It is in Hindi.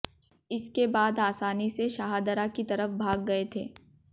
इसके बाद आसानी से शाहदरा की तरफ भाग गए थे